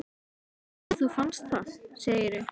Svo að þú fannst það, segirðu?